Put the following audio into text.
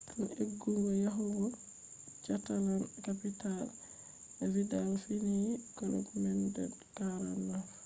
tun eggugo yahugo catalan-capital vidal fiyini club man de 49